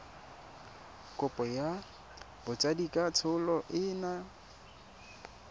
kopo ya botsadikatsholo e yang